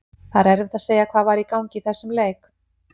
Það er erfitt að segja hvað var í gangi í þessum leik.